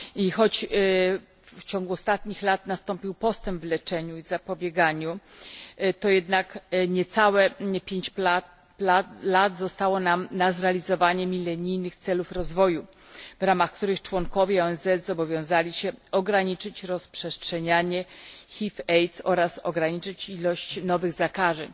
Choć w ciągu ostatnich lat nastąpił postęp w leczeniu i zapobieganiu, to jednak niecałe 5 lat zostało nam na zrealizowanie milenijnych celów rozwoju, w ramach których członkowie ONZ zobowiązali się ograniczyć rozprzestrzenianie HIV AIDS oraz ograniczyć ilość nowych zakażeń.